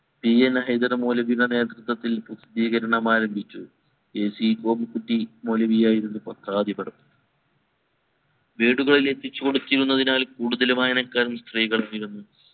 E. N Haidar മൗലവിയുടെ നേതൃത്വത്തിൽ പ്രാസദീകരണം ആരംഭിച്ചു A. C പോയികുട്ടി മൊലവിയായിരുന്നു പത്രാധിപർ വീടുകളിൽ എത്തിച്ചു കൊടുക്കുന്നതിനാൽ കൂടുതൽ വായനക്കാരിൽ സ്ത്രീകൾ നിറഞ്ഞു